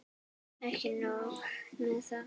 Og ekki nóg með þetta.